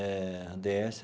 A dê esse.